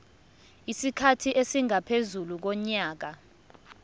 isikhathi esingaphezu konyaka